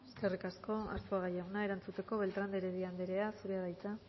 eskerrik asko arzuaga jauna erantzuteko beltrán de heredia andrea zurea da hitza